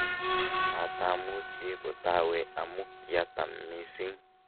matamuchi kotawe amu kiatam mising'